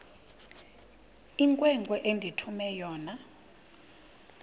inkwenkwe endithume yona